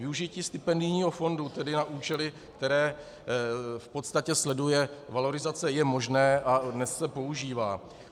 Využití stipendijního fondu tedy na účely, které v podstatě sleduje valorizace, je možné a dnes se používá.